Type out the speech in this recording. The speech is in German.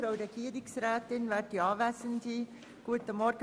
Kommissionssprecherin